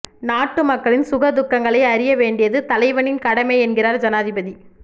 நாட்டு மக்களின் சுக துக்கங்களை அறியவேண்டியது தலைவனின் கடமை என்கிறார் ஜனாதிபதி